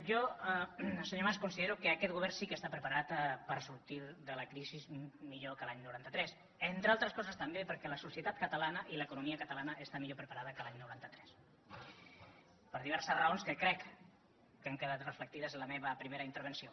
jo senyor mas considero que aquest govern sí que està preparat per sortir de la crisi millor que l’any noranta tres entre altres coses també perquè la societat catalana i l’economia catalana estan millor preparades que l’any noranta tres per diverses raons que crec que han quedat reflectides en la meva primera intervenció